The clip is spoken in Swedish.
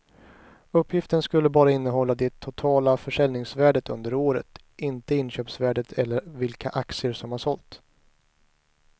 Uppgiften skulle bara innehålla det totala försäljningsvärdet under året, inte inköpsvärdet eller vilka aktier som har sålts.